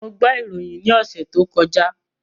Mo gbọ́ ìròyìn ní ọ̀sẹ̀ tó kọjá